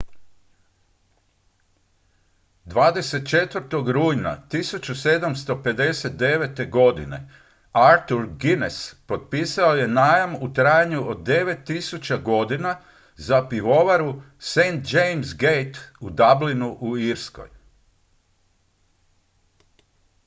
24. rujna 1759. godine arthur guinness potpisao je najam u trajanju od 9000 godina za pivovaru st james' gate u dublinu u irskoj